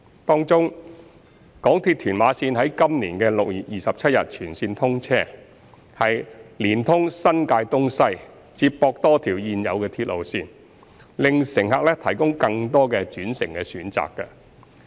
當中，港鐵屯馬綫於今年6月27日全線通車，連通新界東西，接駁多條現有鐵路線，為乘客提供更多的轉乘選擇。